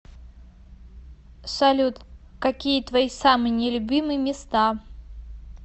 салют какие твои самые не любимые места